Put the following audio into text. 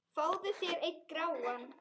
Fáðu þér einn gráan!